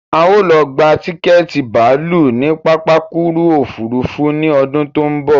A ó lọ gba tiketi bàálù ní pápákuru òfurufú ni ọdún tó ń bọ̀